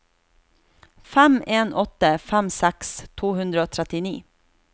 fem en åtte fem seksti to hundre og trettini